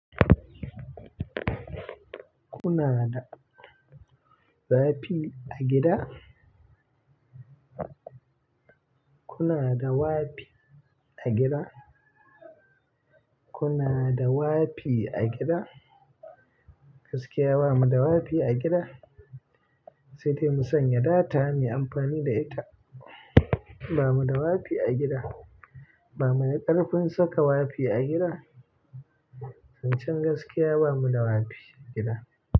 Kuna da wi-fi a gida? Kuna da wi-fi a gida? Kuna da wi-fi a gida? Gaskiya bamu da wi-fi a gida, sai dai mu sanya data mu yi amfani da ita. Bamu da wi-fi a gida. Ba mu na ƙarfin saka wi-fi a gida. Zancan gaskiya bamu da wafi a gida.